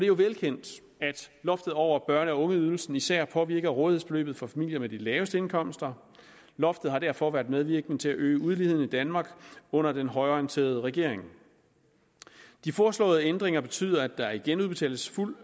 jo velkendt at loftet over børne og ungeydelsen især påvirker rådighedsbeløbet for familier med de laveste indkomster loftet har derfor været medvirkende til at øge uligheden i danmark under den højreorienterede regering de foreslåede ændringer betyder at der igen udbetales fuld